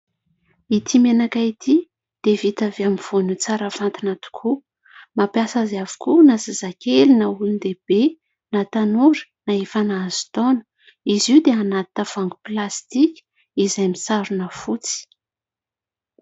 Ity menaka ity dia vita avy amin'ny voanio tsara fantina tokoa. Mampiasa azy avokoa na zazakely na olon-dehibe na tanora na efa nahazo taona, izy io dia anaty tavoahangy plastika izay misarona fotsy.